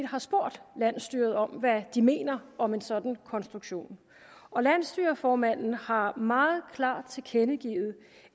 har spurgt landsstyret om hvad de mener om en sådan konstruktion landsstyreformanden har meget klart tilkendegivet